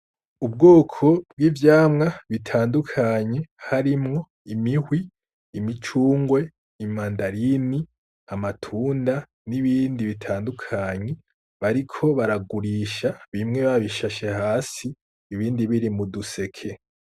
Ubwoko bw'icamwa bitandukanye harimwo imihwi, imicungwe, imandarini, amatunda n’ibindi bitandukanye bariko baragurisha bimwe bishashe hasi ibindi biri muduseke.